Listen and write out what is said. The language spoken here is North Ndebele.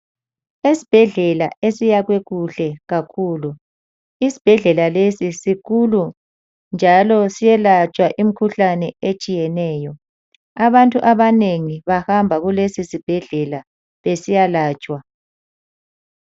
Esibhedlela esiyakhwe kuhle kakhulu, isibhedlela lesi sikhulu njalo siyelatshwa imikhuhlane etshiyeneyo, abantu abanengi bahamba kulesisibhedlela besiyalatshwa.